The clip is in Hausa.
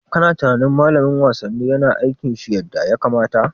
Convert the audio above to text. Kana tunanin Malamin wasanni yana aikin shi yadda ya kamata?